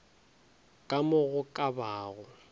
ka mo go ka bago